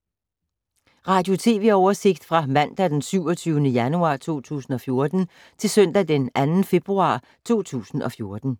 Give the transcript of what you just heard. Radio/TV oversigt fra mandag d. 27. januar 2014 til søndag d. 2. februar 2014